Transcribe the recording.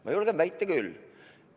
Ma julgen väita küll.